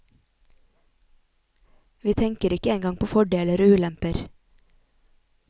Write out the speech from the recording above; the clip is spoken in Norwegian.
Vi tenker ikke engang på fordeler og ulemper.